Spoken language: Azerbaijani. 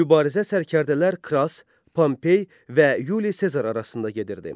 Mübarizə sərkərdələr Kras, Pompey və Yuli Sezar arasında gedirdi.